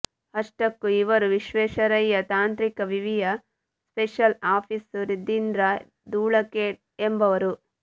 ಅಷ್ಟಕ್ಕೂ ಇವರು ವಿಶ್ವೇಶ್ವರಯ್ಯ ತಾಂತ್ರಿಕ ವಿವಿಯ ಸ್ಪೇಶಲ್ ಆಫೀಸ್ ಸುಧೀಂದ್ರ ಧೂಳಖೇಡ್ ಎಂಬವರು